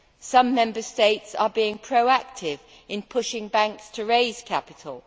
some Member States are being proactive in pushing banks to raise capital.